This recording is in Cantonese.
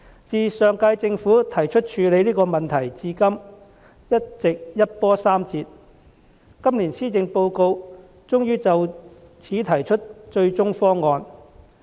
自上屆政府提出處理這個問題至今，一直一波三折，今年施政報告終於就此提出"最終方案"。